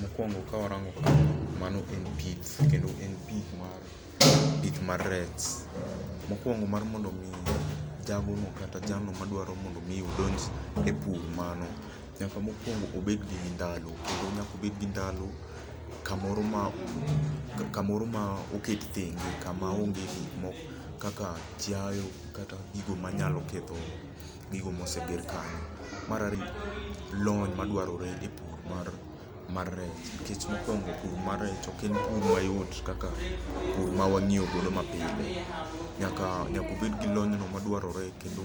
Mokuongo ka warango ka, mano en pith, kendo en pith mar, pith mar rech. Mokuongo mar mondo mi jago no kata jalno ma dwaro mondo mi udonj e pur mano, nyaka mokuongo obed gi ndalo, kendo nyaka obed gi ndalo kamoro ma, kamoro ma oket thenge. Kama onge gik moko kaka chiaye kata gigo manyalo ketho gigo moseger kanyo. Mar ariyo, en lony madwarore e pur mar mar rech. Nikech mokuongo pur mar rech ok en pur mayot kaka pur ma wang'iyo godo mapile. Nyaka nyaka obed gi lony no madwarore kendo